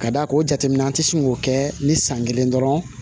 Ka d'a ka o jateminɛ an tɛ sin k'o kɛ ni san kelen dɔrɔn